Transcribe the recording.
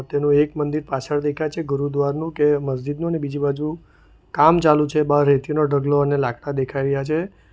તેનું એક મંદિર પાછળ દેખાય છે ગુરુદ્વારનું કે મસ્જિદનું અને બીજી બાજુ કામ ચાલુ છે બહાર રેતી નો ઢગલો અને લાકડા દેખાઈ રહ્યા છે.